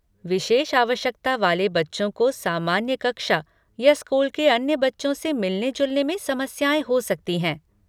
विशेष आवश्यकता वाले बच्चों को सामान्य कक्षा या स्कूल के अन्य बच्चों से मिलने जुलने में समस्याएँ हो सकती हैं।